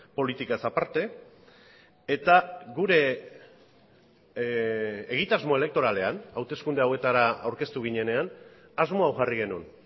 politikaz aparte eta gure egitasmo elektoralean hauteskunde hauetara aurkeztu ginenean asmo hau jarri genuen